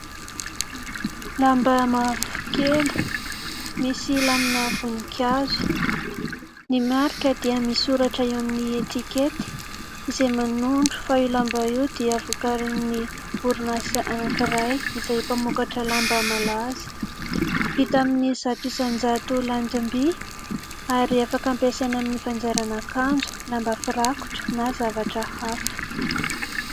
Lamba mavokely misy lamina vonikazo, ny marika dia misoratra eo amin'ny etikety, izay manondro fa io lamba io dia vokarin'ny orinasa anankiray izay mpamokatra lamba malaza, vita amin'ny zato isan-jato landimby ary afaka ampiasaina amin'ny fanjairana akanjo, lamba firakotra na zavatra hafa.